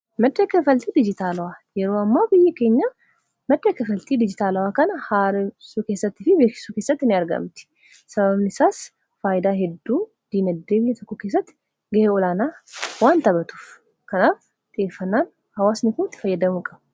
madda kaffaltii dijitaalawaa yeroo ammaa biyyi keenya madda kaffaltii diijitaalawaa kana haaressuu keessattii fi beeksisuu kessatti ni argamti sababanisaas faayidaa hedduu diinagdee biyya tokkoo keessatti ga'ee olaanaa waan taphatuuf kanaaf xiyyeeffannaan hawasni itti fayyadamuu qabu.